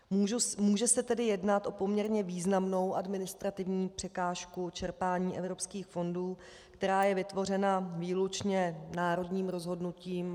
Může se tedy jednat o poměrně významnou administrativní překážku čerpání evropských fondů, která je vytvořena výlučně národním rozhodnutím.